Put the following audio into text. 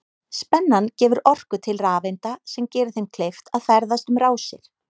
Spennan gefur orku til rafeinda sem gerir þeim kleift að ferðast um rásir.